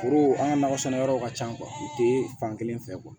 Foro an ka nakɔ sɛnɛ yɔrɔ ka ca u tɛ fankelen fɛ